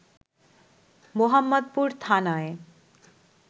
মোহাম্মদপুর থানায়